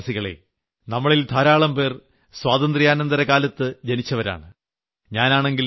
പ്രിയപ്പെട്ട ദേശവാസികളെ നമ്മളിൽ ധാരാളം പേർ സ്വാതന്ത്യാനന്തര കാലത്ത് ജനിച്ചവരാണ്